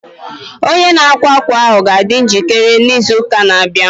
Onye na-akwa akwa ahụ a ga-adị njikere n' izuuka na-abịa?